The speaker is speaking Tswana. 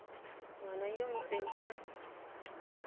ngwana yo o ntseng a